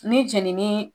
Ni jenini